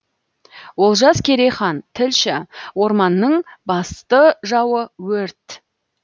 олжас керейхан тілші орманның басты жауы өрт